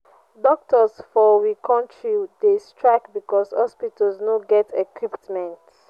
doctors for we country dey strike because hospitals no get equipment.